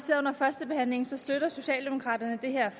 under førstebehandlingen støtter socialdemokraterne det her